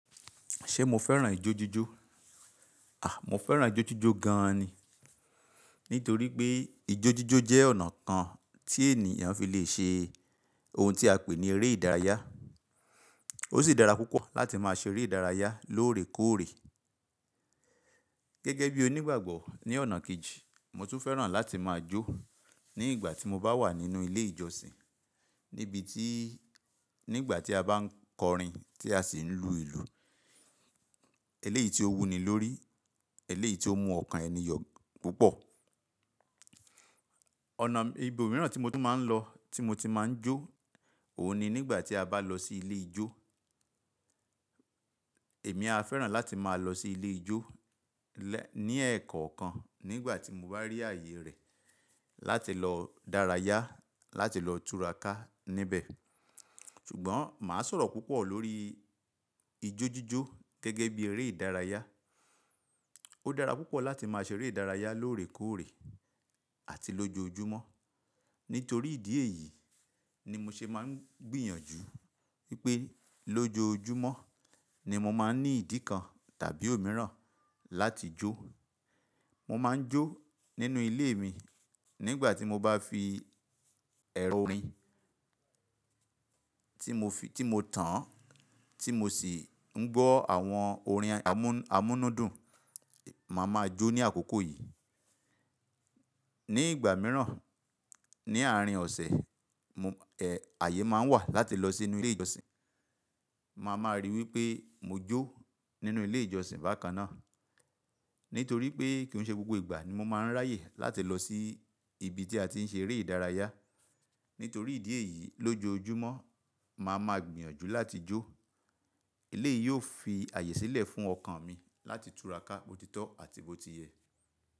Ṣé mo fẹ́ràn ijójíjó? À, mo fẹ́ràn ijójíjó gan ni. Nítorí pé ijójíjó jẹ́ ọ̀nà kan tí ènìyàn fi lè ṣe ohun tí a pè ní eré ìdárayá. Ó sì dára púpọ̀ láti máa ṣe eré ìdárayá lóòrèkóòrè. Gẹ́gẹ́ bí onígbàgbọ́ ní ọ̀nà kejì, mo tún fẹ́ràn láti máa jó ní ìgbà tí mo bá wà nínú ilé ìjọsìn. Níbi tí, ní ìgbà tí a bá ń kọrin tí a sì ń lu ìlù. Eléyìí tí ó wuni lórí, eléyìí tí ó mú ọ̀kan ẹni yọ̀ púpọ̀. Ọ̀nà ibi mìíràn tí mo tún máa ń lọ, tí mo ti máa ń jó, òun ni nígbà tí a bá lọ sí ilé ijó. Èmi a fẹ́ràn láti máa lọ sí ilé ijó lẹ́, ní ẹ̀ kọ́ kan nígbà tí mo bá rí ààyè rẹ̀. Láti lọ dárayá, láti lọ tura ká níbẹ̀. Ṣùgbọ́n màá sọ̀rọ̀ púpọ̀ lórí ijójíjó gẹ́gẹ́ bí eré ìdárayá. Ó dára púpọ̀ láti máa ṣe eré ìdárayá lóòrèkóòrè àti lójoojúmọ́. Nítorí ìdí èyí ni mo ṣe máa ń gbìyànjú wípé lójoojúmọ́ ni mo máa ń ní ìdí kan tàbí òmíràn láti jó. Mo máa ń jó nínú ilé mi nígbà tí mo bá fi ẹrọ orin tí mo fi, tí mo tan, tí mo sì ń gbọ́ àwọn orin amú-amúnúdùn, màá máa jó ní àkókò yìí. Ní ìgbà mìíràn, ní àárín ọ̀sẹ̀, mo, ẹ, ààyè máa ń wà láti lọ sínú ilé ìjọsìn. Ma máa rí wípé mo jó nínú ilé ìjọsìn bákan náà. Nítorí pé kì n ṣe gbogbo ìgbà ni mo máa ń ráyè láti lọ sí ibi tí a ti ń ṣe eré ìdárayá. Nítorí ìdí èyí lójoojúmọ́ ma máa gbìyànjú láti jó. Eléyìí yóò fi ààyè sílẹ̀ fún ọ̀kan mi láti tura ká botitọ́ àti botiyẹ̀.